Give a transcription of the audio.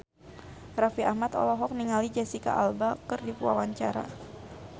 Raffi Ahmad olohok ningali Jesicca Alba keur diwawancara